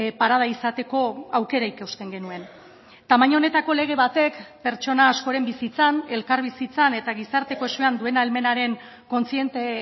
parada izateko aukera ikusten genuen tamaina honetako lege batek pertsona askoren bizitzan elkarbizitzan eta gizarte kohesioan duen ahalmenaren kontziente